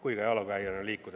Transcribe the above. Aitäh!